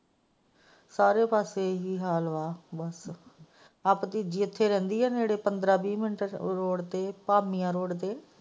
ਸਾਰੇ ਪਾਸੇ ਇਹ ਹੀ ਹਾਲ ਵਾ ਇਹ ਭਤੀਜੀ ਇੱਥੇ ਰਹਿੰਦੀ ਹੈ ਨੇੜੇ ਪੰਦਰਾਂ ਵੀਹ ਮਿੰਟ ਰੋਡ ਤੇ ਭਾਮੀਆਂ ਰੋਡ ਤੇ।